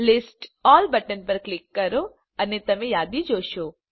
list all button પર click કરો અને તમે યાદી જોશો